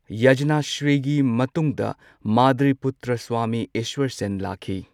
ꯌꯖꯅ ꯁ꯭ꯔꯤꯒꯤ ꯃꯇꯨꯡꯗ ꯃꯥꯙꯔꯤꯄꯨꯇ꯭ꯔ ꯁ꯭ꯋꯥꯃꯤ ꯏꯁ꯭ꯋꯔꯁꯦꯟ ꯂꯥꯛꯈꯤ꯫